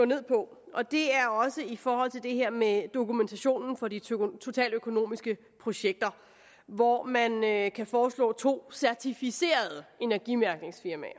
ned på og det er også i forhold til det her med dokumentationen for de totaløkonomiske projekter hvor man kan foreslå to certificerede energimærkningsfirmaer